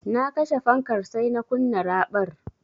Na kashe fankar sai na kunna raɓar.